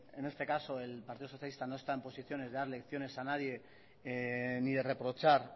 en este caso el partido socialista no está en posiciones de dar lecciones a nadie ni de reprochar